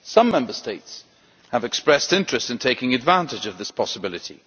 Some Member States have expressed interest in taking advantage of this possibility.